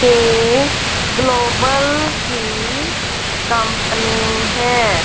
ये ग्लोबल की कंपनी है।